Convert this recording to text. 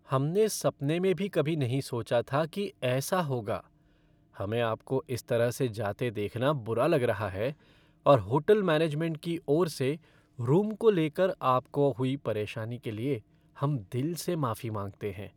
हमने सपने में भी कभी नहीं सोचा था कि ऐसा होगा, हमें आपको इस तरह से जाते देखना बुरा लग रहा है और होटल मैनेजमेंट की ओर से, रूम को लेकर आपको हुई परेशानी के लिए हम दिल से माफी मांगते हैं।